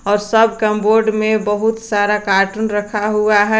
और सब कमबोर्ड में बहुत सारा कार्टून रखा हुआ है।